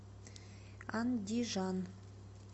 андижан